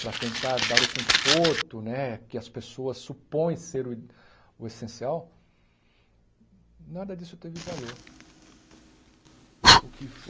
para tentar dar o conforto né que as pessoas supõem ser o o essencial, nada disso teve valor. O que